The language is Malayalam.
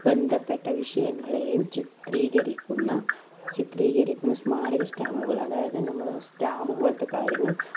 ബന്ധപ്പെട്ട വിഷയങ്ങളെയും ചിത്രീകരിക്കുന്ന, ചിത്രീകരിക്കുന്ന സ്മാരക stamp കൾ അതായത് നമ്മുടെ stamp പോലത്തെ കാര്യങ്ങൾ